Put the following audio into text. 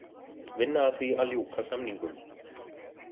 Vinna að því að ljúka samningum